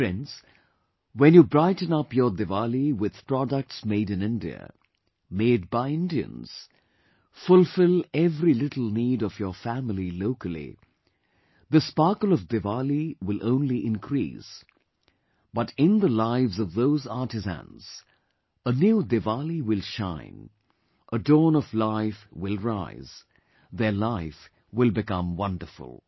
Friends, when you brighten up your Diwali with products Made In India, Made by Indians; fulfill every little need of your family locally, the sparkle of Diwali will only increase, but in the lives of those artisans, a new Diwali will shine, a dawn of life will rise, their life will become wonderful